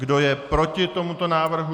Kdo je proti tomuto návrhu?